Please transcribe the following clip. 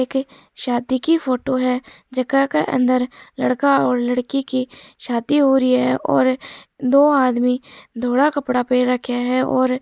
एक शादी की फोटो है जका के अंदर लड़का और लड़की की शादी हो रही है और दो आदमी धोला कपडा पेहर राखिया है और --